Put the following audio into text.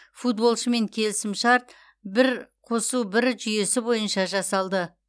футболшымен келісімшарт бір қосу бір жүйесі бойынша жасалды